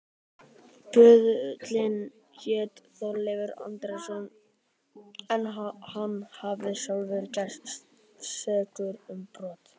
Böðullinn hét Þorleifur Andrésson en hann hafði sjálfur gerst sekur um brot.